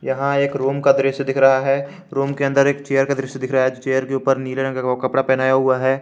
यहां एक रूम का दृश्य दिख रहा है रूम के अंदर एक चेयर का दृश्य दिख रहा है चेयर के ऊपर नीले रंग का कपड़ा पहनाया हुआ है।